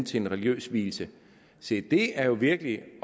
til en religiøs vielse se det er jo virkelig